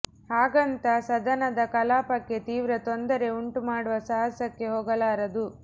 ಹಾಗಂತ ಸದನದ ಕಲಾಪಕ್ಕೆ ತೀವ್ರ ತೊಂದರೆ ಉಂಟು ಮಾಡುವ ಸಾಹಸಕ್ಕೆ ಹೋಗಲಾರದು